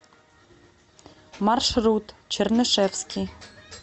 маршрут чернышевский